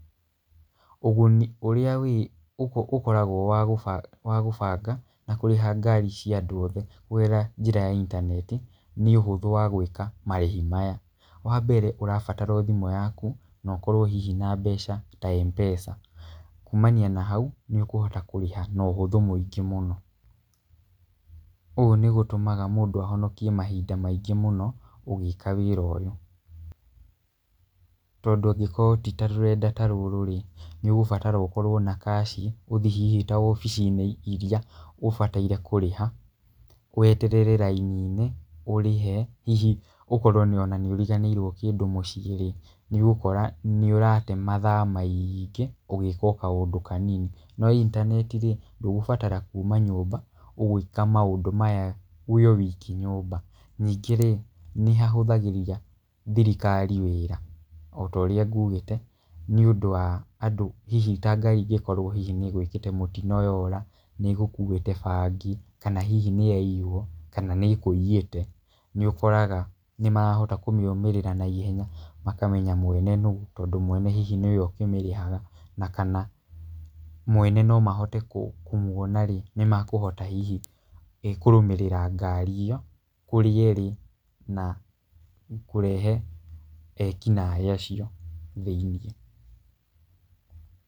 Ũguni ũrĩa ũkoragwo wa gũbanga na kũrĩha ngari cia andũ othe kũgerera njĩra ya intaneti nĩ ũhũthũ wa gwĩka marĩhi maya. Wa mbere ũrabatara o thimũ yaku na ũkorwo hihi na mbeca ta M-Pesa. Kumania na hau nĩ ũkũhota kũrĩha na ũhũthũ mũingĩ mũno. Ũguo nĩ gũtũmaga mũndũ ahononkie mahinda maingĩ mũno ũgĩka wĩra ũyũ. Tondũ angĩkorwo ti ta rũrenda ta rũrũ rĩ, nĩ ũgũbatara ũkorwo na cash ũthii hihi ta wabici-inĩ irĩa ũbataire kũrĩha, weterere raini-inĩ ũrĩhe. Hihi ũkorwo ona nĩ ũriganĩirwo kĩndũ mũciĩ rĩ, nĩ ũgũkora nĩ ũrate mathaa maingĩ ũgĩka o kaũndũ kanini. No intnaneti rĩ, ndũgũbatara kuma nyũmba, ũgwĩka maũndũ maya ũrĩ o wiki nyũmba. Ningĩ rĩ, nĩ hahũthagĩria thirikari wĩra o ta ũria ngugĩte. Nĩ ũndũ wa andũ hihi ta ngari ĩngĩkorwo hihi nĩ ĩgwĩkĩte mũtino yora, nĩ ĩgũkuĩte bangi kana hihi nĩ yaiywo, kana hihi nĩ ĩkũiyĩte, nĩ ũkoraga nĩ marahota kũmĩrũmĩrĩra naihenya makamenya mwene nũ. Tondũ mwene hihi nĩwe ũkĩmirĩhaga na kana mwene no mahote kũmwona rĩ, nĩ mekũhota hihi kũrũmĩrĩra ngari ĩyo kũrĩa ĩrĩ, na kũrehe eki naĩ acio thĩiniĩ.